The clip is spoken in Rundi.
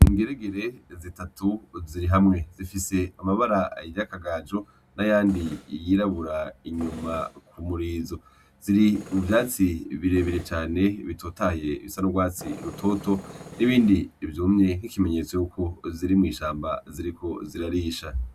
Ingeregere zitatu zirihamwe zifise amabara ,y'akagaju n'ayandi, yirabura inyuma kumurizo .Ziri muvyatsi birebire cane bitotahaye bisa n'ugwatsi rutoto n'ibindi vyumye nk'ikimenyetso yuko ziri mw'ishamba ziriko zirarisha.